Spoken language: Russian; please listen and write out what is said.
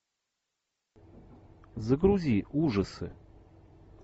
загрузи ужасы